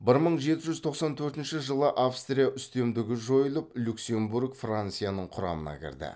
бір мың жеті жүз тоқсан төртінші жылы австрия үстемдігі жойылып люксембург францияның құрамына кірді